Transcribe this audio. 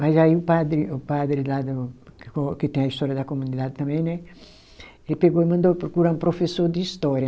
Mas aí o padre, o padre lá do, que tem a história da comunidade também né, ele pegou e mandou procurar um professor de história.